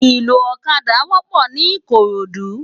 Iló ókàdá wòpò ni Ikorodu